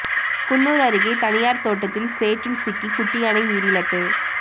குன்னூர் அருகே தனியார் தோட்டத்தில் சேற்றில் சிக்கி குட்டி யானை உயிரிழப்பு